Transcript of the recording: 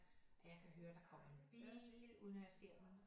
At jeg kan høre at der kommer en bil uden at jeg ser den